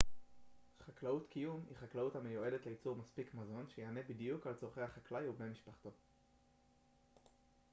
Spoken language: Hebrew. חקלאות קיום היא חקלאות המיועדת לייצור מספיק מזון שיענה בדיוק על צרכי החקלאי ובני משפחתו